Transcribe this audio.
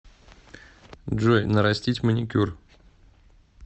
джой нарастить маникюр